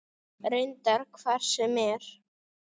Reyndar hvar sem er.